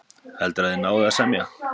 Heldurðu að þið náið að semja?